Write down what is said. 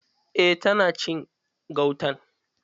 Eh tana cin gautan.